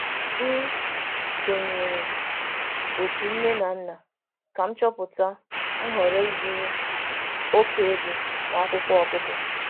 M sonyeere otu nne na nna ka m chọpụta nhọrọ ịzụrụ oke ego na akwụkwọ ọgụgụ.